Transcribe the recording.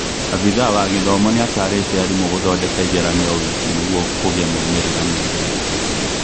Abithaa wa githomo nĩatarĩte arimũ gũthondeka igeranio o wiki nĩguo kũgĩa maumĩrĩra megega